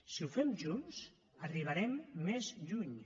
si ho fem junts arribarem més lluny